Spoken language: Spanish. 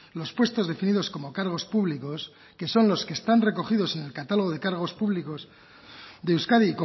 los puestos definidos como cargos públicos que son los que están recogidos en el catálogo de cargos públicos de euskadi